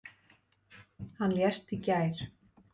Hann lést í gær.